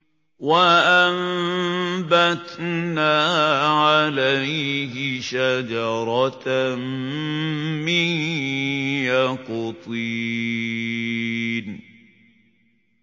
وَأَنبَتْنَا عَلَيْهِ شَجَرَةً مِّن يَقْطِينٍ